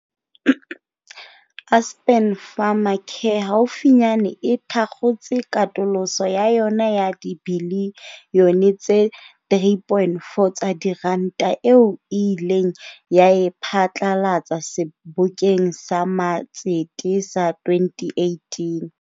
Aspen Pharmacare haufinyane e thakgotse katoloso ya yona ya dibilione tse 3.4 tsa diranta, eo e ileng ya e phatlalatsa sebokeng sa matsete sa 2018.